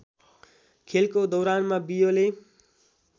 खेलको दौरानमा बियोले